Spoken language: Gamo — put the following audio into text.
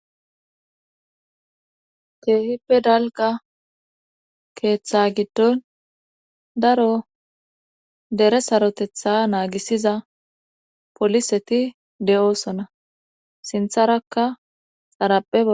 Keehippe dalga keeththa giddon daro dere sarotetha naagisiza poliseti de7oosonna sintharakaxarapea.